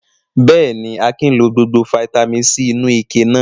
Bẹ́ẹ̀ ni, Akin lọ gbogbo fataímìn C inú ike náà.